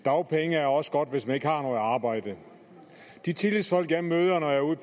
dagpenge er også godt hvis man ikke har noget arbejde de tillidsfolk jeg møder når jeg